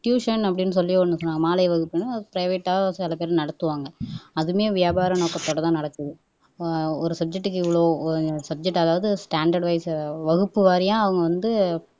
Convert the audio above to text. tuition அப்படின்னு சொல்லி ஒண்ணு மாலை வகுப்பு பிரைவேட்டா சில பேர் நடத்துவாங்க அதுமே வியாபார நோக்கத்தோட தான் நடக்குது ஒரு சப்ஜெக்ட்க்கு இவ்வளவு சப்ஜெக்ட் அதாவது ஸ்டேண்டர்ட் வைஸ் வகுப்பு வாரியா வந்து